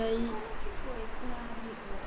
E como que foi com a avícola?